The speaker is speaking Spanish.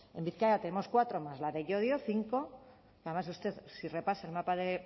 en bizkaia tenemos cuatro más la de llodio cinco y además usted si repasa el mapa de